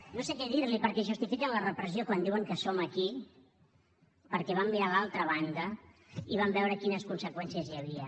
no sé que dir li perquè justifiquen la repressió quan diuen que som aquí perquè vam mirar l’altra banda i vam veure quines conseqüències hi havia